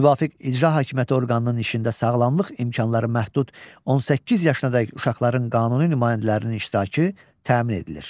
Müvafiq icra hakimiyyəti orqanının işində sağlamlıq imkanları məhdud 18 yaşadək uşaqların qanuni nümayəndələrinin iştirakı təmin edilir.